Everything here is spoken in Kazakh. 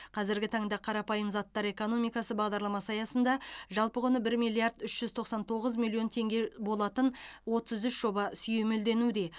қазіргі таңда қарапайым заттар экономикасы бағдарламасы аясында жалпы құны бір миллиард үш жүз тоқсан тоғыз миллион теңге болатын отыз үш жоба сүйемелденуде